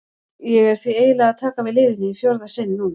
Ég er því eiginlega að taka við liðinu í fjórða sinn núna.